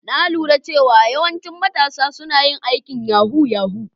Na lura cewa yawancin matasa suna yin aikin yahoo -yahoo.